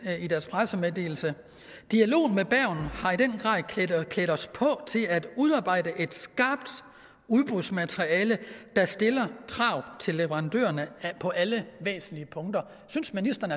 i deres pressemeddelelse dialogen med bergen har i den grad klædt os på til at udarbejde et skarpt udbudsmateriale der stiller krav til leverandørerne på alle væsentlige punkter synes ministeren